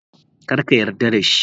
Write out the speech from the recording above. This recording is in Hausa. Kar ka yarda da shi.